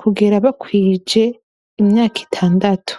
kugera bakwije imyaka itandatu